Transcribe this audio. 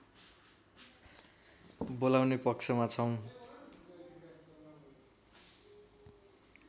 बोलाउने पक्षमा छौँ